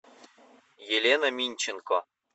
елена минченко